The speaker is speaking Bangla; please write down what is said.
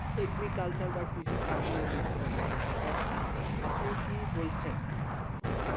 এগ্রিকালচার বা কৃষিখাত নিয়ে কিছু কথা বলতে চাইছি। আপনি কি বলছেন?